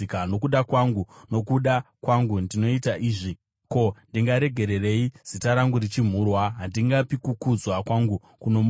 Nokuda kwangu, nokuda kwangu, ndinoita izvi. Ko, ndingaregererei zita rangu richimhurwa? Handingapi kukudzwa kwangu kuno mumwe.